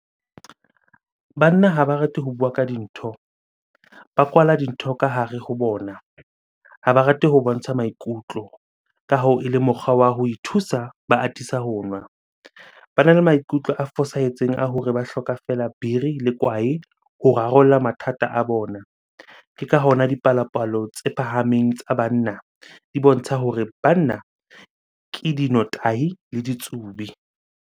Banna ha ba rate ho bua ka dintho, ba kwala dintho ka hare ho bona, ha ba rate ho bontsha maikutlo. Ka hoo ele mokgwa wa ho ithusa, ba atisa ho nwa. Bana le maikutlo a fosahetseng a hore ba hloka fela biri le kwae ho rarolla mathata a bona. Ke ka hona dipalopalo tse phahameng tsa banna, di bontsha hore banna ke dinotahi le ditsubi.